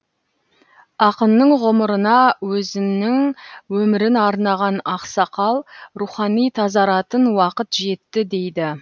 ақынның ғұмырына өзінің өмірін арнаған ақсақал рухани тазаратын уақыт жетті дейді